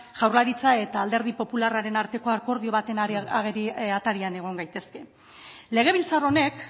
jaurlaritza eta alderdi popularraren arteko akordio baten aterian egon gaitezke legebiltzar honek